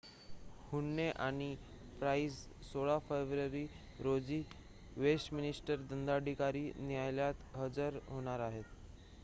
हुन्ने आणि प्राइस 16 फेब्रुवारी रोजी वेस्टमिन्स्टर दंडाधिकारी न्यायालयात हजर होणार आहेत